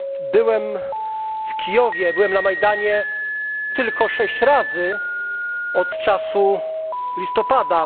Byłem w Kijowie, byłem na Majdanie tylko sześć razy od czasu listopada.